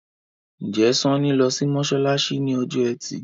Njé Sanni ló sì masalasi ní Ọjọ́ Ẹti?